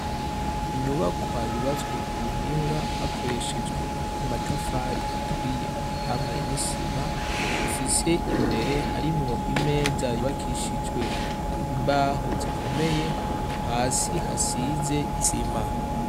Inyubakwa yubatswe ku buhinga hakoreshejwe amatafari aturiye hamwe n'isima ifise imbere harimwo imeza yubakishijwe imbaho zikomeye hasi hasize isima.